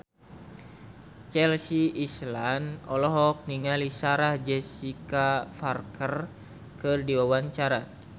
Chelsea Islan olohok ningali Sarah Jessica Parker keur diwawancara